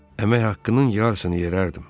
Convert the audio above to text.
Əmək haqqının yarısını yerərdim.